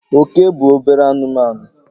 Oke bụ obere anụmanụ.